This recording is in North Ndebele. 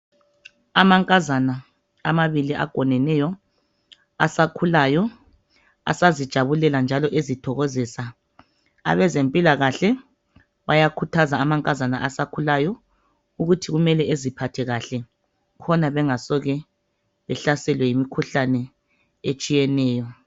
Amankazana amabili agoneneyo asakhulayo asazijabulela njalo ezithokozisa. Abezempilakahle bayakhuthaza amankazana asakhulayo ukuthi kumele eziphathe kahle khona bengasoze behlaselwe yimikhuhlane etshiyeneyo.